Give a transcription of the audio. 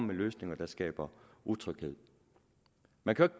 med løsninger der skaber utryghed jeg kan